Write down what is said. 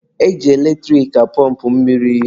E ji eletrik apọmpụ mmiri.